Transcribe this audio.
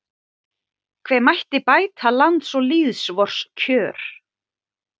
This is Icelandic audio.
hve mætti bæta lands og lýðs vors kjör